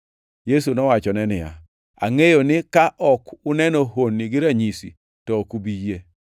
Yesu nowachone niya, “Angʼeyo ni ka ok uneno honni gi ranyisi, to ok ubi yie.”